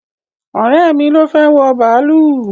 Ọ̀rẹ́ mi ló fẹ́ wọ bàálù